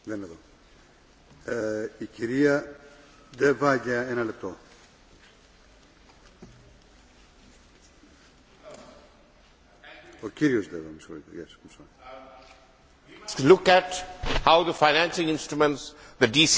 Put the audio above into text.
Mr President, we must look at how the financing instruments the DCI, the stability instruments and the human rights instruments are important for the soft power that the European Union exercises around the world.